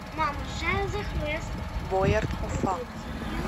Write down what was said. боярд уфа